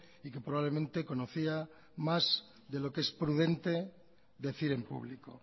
y que probablemente conocía más de lo que es prudente decir en público